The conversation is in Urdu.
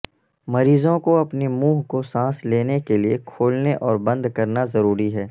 مریضوں کو اپنے منہ کو سانس لینے کے لئے کھولنے اور بند کرنا ضروری ہے